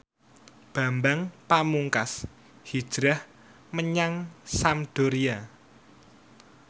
Bambang Pamungkas hijrah menyang Sampdoria